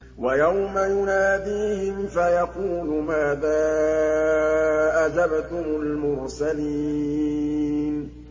وَيَوْمَ يُنَادِيهِمْ فَيَقُولُ مَاذَا أَجَبْتُمُ الْمُرْسَلِينَ